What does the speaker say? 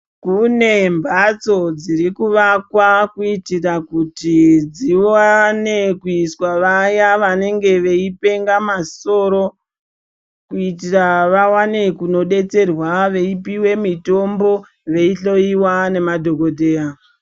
Kune mbatso dzirikuvakwa kuitira kuti dziwane kuiswa vaya vanenge veipenga masoro kuitira vawane kunodetserwa veipiwe mitombo veihloiwa nemadhokodheya.